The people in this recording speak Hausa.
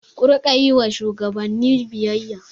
Ku riƙa yi wa shugabanni biyayya!